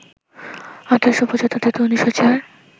১৮৭৫ থেকে ১৯০৪